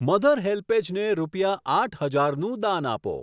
Mother HelpAge ને રૂપિયા આઠ હજાર નું દાન આપો.